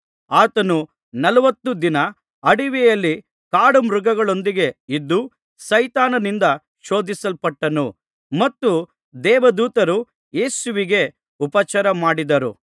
ಆತನು ನಲವತ್ತು ದಿನ ಅಡವಿಯಲ್ಲಿ ಕಾಡುಮೃಗಗಳೊಂದಿಗೆ ಇದ್ದು ಸೈತಾನನಿಂದ ಶೋಧಿಸಲ್ಪಟ್ಟನು ಮತ್ತು ದೇವದೂತರು ಯೇಸುವಿಗೆ ಉಪಚಾರ ಮಾಡಿದರು